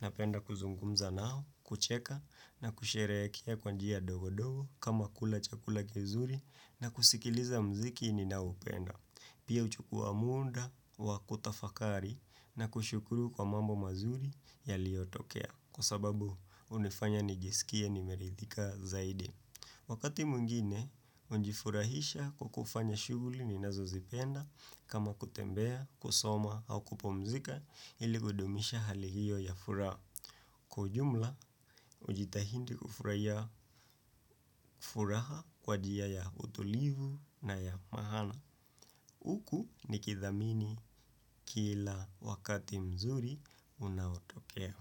Napenda kuzungumza nao, kucheka na kusherekea kwa njia dogodogo kama kula chakula kizuri na kusikiliza mziki ninaoupenda. Pia uchukua munda, wakutafakari na kushukuru kwa mambo mazuri yaliyotokea kwa sababu unifanya nijisikia nimerithika zaidi. Wakati mwingine, ujifurahisha kukufanya shughuli ninazo zipenda kama kutembea, kusoma au kupumzika ili kudumisha hali hiyo ya furaha kwa ujumla, ujitahindi kufurahia furaha kwa jia ya utulivu na ya mahana. Uku nikithamini kila wakati mzuri unaotokea.